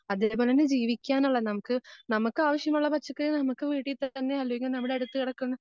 അതേപോലെതന്നെ ജീവിക്കാനുള്ള നമുക്ക്, നമുക്ക് ആവശ്യമുള്ള പച്ചക്കറികൾ നമുക്ക് വീട്ടിൽ തന്നെ അല്ലെങ്കിൽ നമ്മുടെ അടുത്ത് കെടക്കുന്ന